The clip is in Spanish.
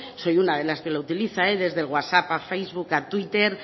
soy una de las que lo utiliza desde el whatsapp a facebook a twitter